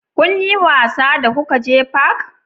Kun yi wasa da kuka je fak?